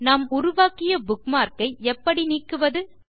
நாம் உருவாக்கிய புக்மார்க் ஐ எப்படி நீக்குவது